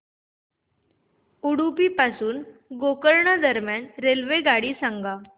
उडुपी पासून गोकर्ण दरम्यान रेल्वेगाडी सांगा